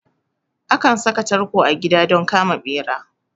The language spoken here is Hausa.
Akan saka tarko a gida don kama ɓera